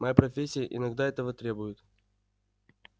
моя профессия иногда этого требует